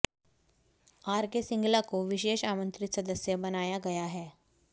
R K Singla को विशेष आमंत्रित सदस्य बनाया गया है